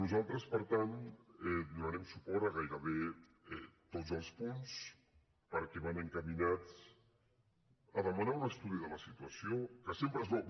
nosaltres per tant donarem suport a gairebé tots els punts perquè van encaminats a demanar un estudi de la situació que sempre és bo